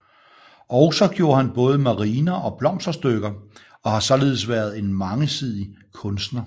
Også gjorde han både mariner og blomsterstykker og har således været en mangesidig kunstner